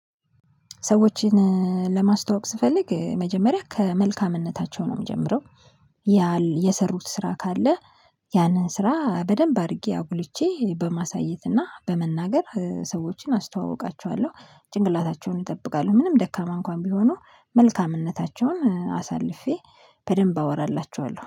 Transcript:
ሰዎችን ለማስተዋወቅ ስፈልግ መጀመሪያ ከመልካምነታቸው ነው የምጀምረው። ያል የሰሩት ስራ ካለ። ያንን ስራ በደንብ አድርጌ አጉልቼ በማሳየትና በመናገር ሰዎችን አስተዋውቃቸዋለሁ። ጭንቅላታቸውን እጠብቃለሁ ምንም ደካማ እንኳን ቢሆኑ መልካምነታቸውን አሳልፌ በደንብ አወራላችኋለሁ